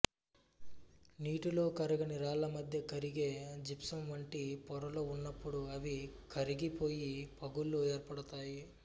నీటిలో కరగని రాళ్ళ మధ్య కరిగే జిప్సం వంటి పొరలు ఉన్నపుడు అవి కరిగిపోయి పగుళ్ళు ఏర్పడతాయి